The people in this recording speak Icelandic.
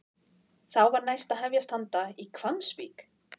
Þá var næst að hefjast handa í Hvammsvík.